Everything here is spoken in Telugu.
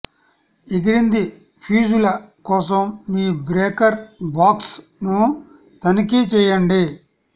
ఎగిరింది ఫ్యూజుల కోసం మీ బ్రేకర్ బాక్స్ ను తనిఖీ చేయండి